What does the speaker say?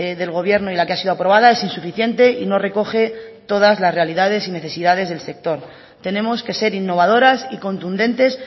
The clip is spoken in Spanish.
del gobierno y la que ha sido aprobada es insuficiente y no recoge todas las realidades y necesidades del sector tenemos que ser innovadoras y contundentes